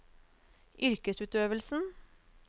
yrkesutøvelsen